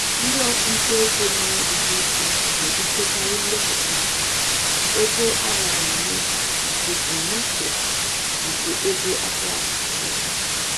Ndị ọchụnta ego nwere ọgụgụ isi na-ebutekarị mwepụta ego a raara nye maka ebumnuche nke ego akọwapụtara ụzọ.